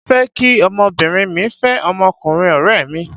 Mo fẹ́ kí ọmọbìnrin mí fẹ́ ọmọkùnrin ọ̀rẹ́ mi.